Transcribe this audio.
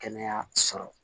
Kɛnɛya sɔrɔ